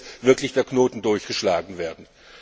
Jetzt muss wirklich der Knoten durchgeschlagen werden!